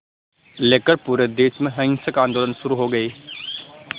लेकर पूरे देश में हिंसक आंदोलन शुरू हो गए